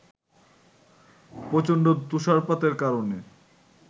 প্রচণ্ড তুষারপাতের কারণে